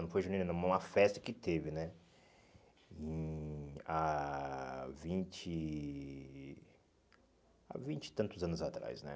Não foi junina não, mas uma festa que teve né hum há vinte há vinte e tantos anos atrás.